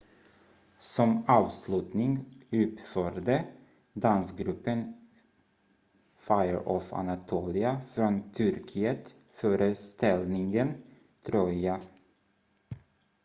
"som avslutning uppförde dansgruppen fire of anatolia från turkiet föreställningen "troja"".